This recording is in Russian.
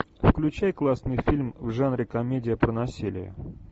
включай классный фильм в жанре комедия про насилие